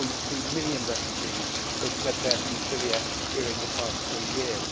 1.2 million refugees who have fled there from Syria during the past three years.